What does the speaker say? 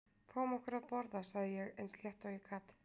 Fáum okkur að borða sagði ég eins létt og ég gat.